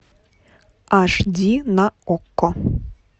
аш ди на окко